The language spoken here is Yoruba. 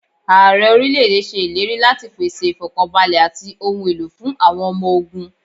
Ààrẹ orílẹ̀ èdè ṣe ìlérí láti pèsè ifọkanbalẹ àti ohun èlò fún àwọn ọmọ ogún.